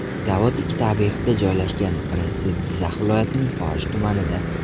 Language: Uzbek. Zavod ikkita obyektda joylashgan: birinchisi Jizzax viloyatining Forish tumanida.